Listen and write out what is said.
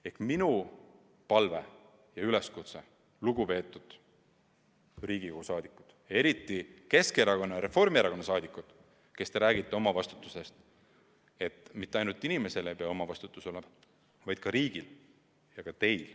Ehk siis minu palve ja üleskutse teile, lugupeetud Riigikogu liikmed, eriti Keskerakonna ja Reformierakonna saadikud, kes te räägite omavastutusest, on: mitte ainult tavalistel inimesel ei pea olema oma vastutusala, vaid ka riigil ja teil.